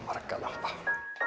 lampa